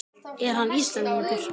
Er hann Íslendingur?